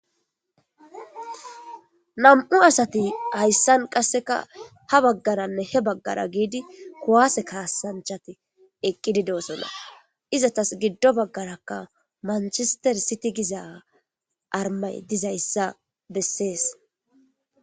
nam7u asati hayssan qasseka ha baggaranne he baggara giidi kuwaase kaassanchati eqqididoosonna izatas giddo baggarakka manchister siti giza armay dizayssa bessees